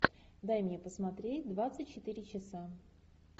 дай мне посмотреть двадцать четыре часа